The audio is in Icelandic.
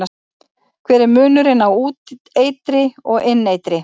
Hver er munurinn á úteitri og inneitri?